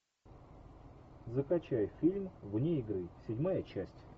закачай фильм вне игры седьмая часть